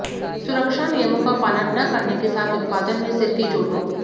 सुरक्षा नियमों का पालन न करने के साथ उत्पादन में सिर की चोटों